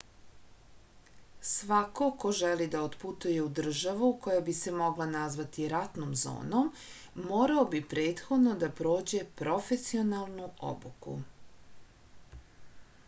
svako ko želi da otputuje u državu koja bi se mogla nazvati ratnom zonom morao bi prethodno da prođe profesionalnu obuku